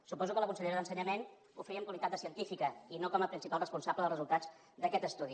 suposo que la consellera d’ensenyament ho feia en qualitat de científica i no com a principal responsable dels resultats d’aquest estudi